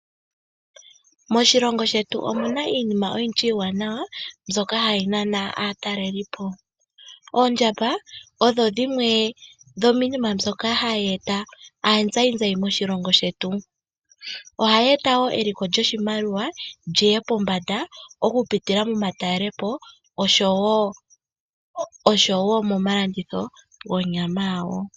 Moshilongo shetu omu na iinima oyindji iiwanawa mbyoka hayi nana aatalelipo. Oondjamba odho dhimwe dhomiinima mbyoka hayi nana aazayizayi moshilongo shetu. Ohayi eta wo eliko lyoshimaliwa li ye pombanda okupitila momatalelopo, oshowo momalanditho gonyama yawo.